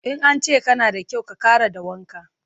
In an ce kana da kyau, ka ƙara da wanka.